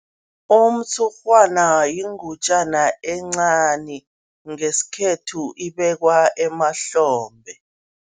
Umtshurhwana yingutjana encani, ngesikhethu ibekwa emahlombe.